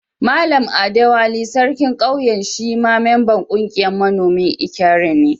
Mallam Adewale, sarkin Ƙauyen shi ma memban ƙungiyan manomin Ikare ne.